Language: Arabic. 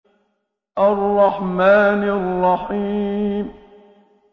الرَّحْمَٰنِ الرَّحِيمِ